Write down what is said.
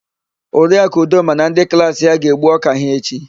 Oriaku Udoma na ndị klaasị ya ga-egbu ọ́kà ha echi.